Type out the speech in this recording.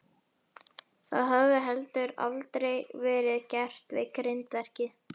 Það hafði heldur aldrei verið gert við grindverkið.